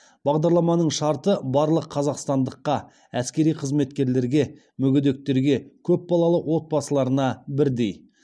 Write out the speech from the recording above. бағдарламаның шарты барлық қазақстандыққа әскери қызметтегілерге мүгедектерге көп балалы отбасыларына бірдей